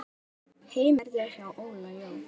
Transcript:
Heimir lærði hjá Óla Jó.